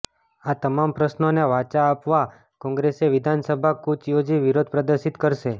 આ તમામ પ્રશ્નોને વાચા આપવા કોંગ્રેસે વિધાનસભા કૂચ યોજી વિરોધ પ્રદર્શિત કરશે